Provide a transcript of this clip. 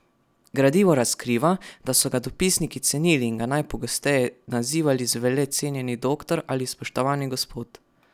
Gradivo razkriva, da so ga dopisniki cenili in ga najpogosteje nazivali z Velecenjeni doktor ali Spoštovani gospod!